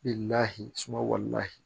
Lahala suma wali lahi